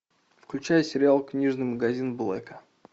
включай сериал книжный магазин блэка